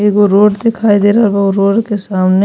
एगो रोड़ दिखाई दे रहल बा। ओ रोड़ के सामने --